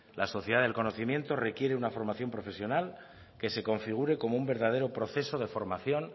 la sociedad del conocimiento requiere una formación profesional que se configure como un verdadero proceso de formación